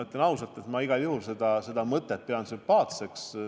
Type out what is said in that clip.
Ütlen ausalt, et ma igal juhul pean seda mõtet sümpaatseks.